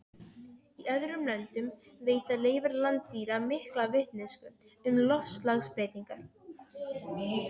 Í öðrum löndum veita leifar landdýra mikla vitneskju um loftslagsbreytingar.